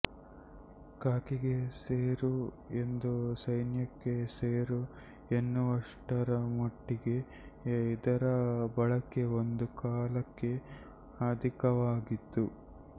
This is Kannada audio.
ಖಾಕಿಗೆ ಸೇರು ಎಂದು ಸೈನ್ಯಕ್ಕೆ ಸೇರು ಎನ್ನುವಷ್ಟರಮಟ್ಟಿಗೆ ಇದರ ಬಳಕೆ ಒಂದು ಕಾಲಕ್ಕೆ ಅಧಿಕವಾಗಿತ್ತು